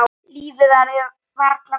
Lífið verður varla betra.